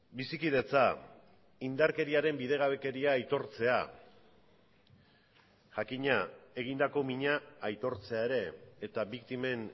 bizikidetza indarkeriaren bidegabekeria aitortzea jakina egindako mina aitortzea ere eta biktimen